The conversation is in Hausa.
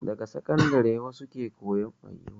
Daga sakandare wasu ke koyan mugun hali